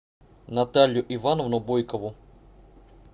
наталью ивановну бойкову